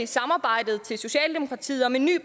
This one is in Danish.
samarbejdet til socialdemokratiet om en ny